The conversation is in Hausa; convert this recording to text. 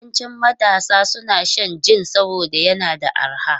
Yawancin matasa suna shan jin saboda yana da arha.